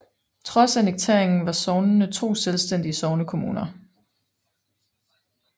Trods annekteringen var sognene to selvstændige sognekommuner